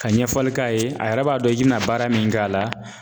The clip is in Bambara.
Ka ɲɛfɔli k'a ye a yɛrɛ b'a dɔn i bɛna baara min kɛ a la